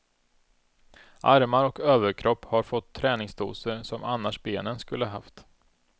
Armar och överkropp har fått träningsdoser, som annars benen skulle haft.